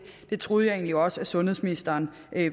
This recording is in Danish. det troede jeg egentlig også sundhedsministeren